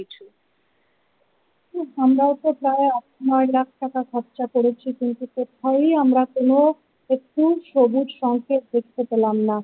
আমরাও তো প্রায় আট নয় লাখ টাকা খরচা করেছি কিন্তু কোথাওই আমরা কোনো একটু সবুজ সংকেত দেখতে পেলাম না।